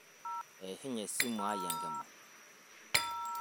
eshunye esimu ai enkima